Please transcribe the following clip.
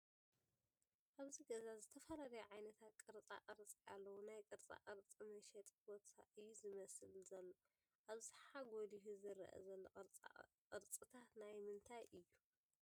ኣብዚ ገዛ ዝተፈላለዩ ዓይነታት ቕርፃ ቕርፂ ኣለዉ ናይ ቕርፃቕርፂ መሸጢ ቦታ እዩ ዝመስል ዘሎ ፡ ኣብዝሓ ጎሊሑ ዝረኣ ዘሎ ቕርፅታት ናይ ምንታይ እዩ ?